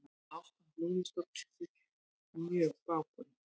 Ástand lúðustofnsins mjög bágborið